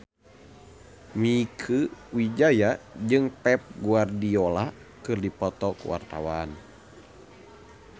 Mieke Wijaya jeung Pep Guardiola keur dipoto ku wartawan